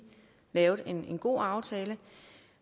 lavet en god aftale